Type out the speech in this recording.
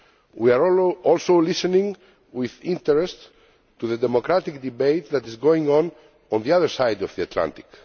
We are also listening with interest to the democratic debate that is going on on the other side of the Atlantic.